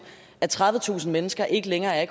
at tredivetusind mennesker ikke længere er